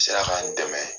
Sera k'an dɛmɛ